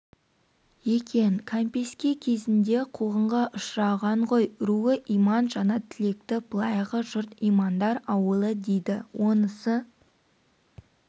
екен кәмпеске кезінде қуғынға ұшыраған ғой руы иман жаңатілекті былайғы жұрт имандар ауылы дейді онысы